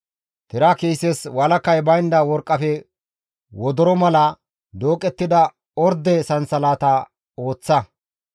«Tira kiises walakay baynda worqqafe wodoro mala dooqettida orde sansalatata ooththa.